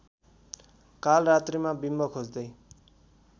कालरात्रीमा बिम्ब खोज्दै